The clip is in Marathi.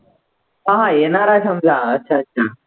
हा हा येणार आहे समजा अच्छा अच्छा